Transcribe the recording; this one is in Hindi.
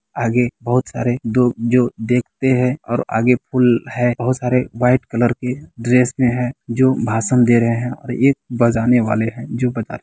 आगे बहुत सारे दो जो देखते हैं और आगे पूल है| बहुत सारे वहाईट कलर के ड्रेस मे हैं जो भाषण दे रहे हैं| और एक बजाने वाले हैं जो बजा--